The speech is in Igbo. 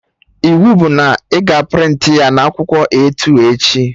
Iwu bụ na ị ga a prịntị ya na akwụkwọ A2 echi!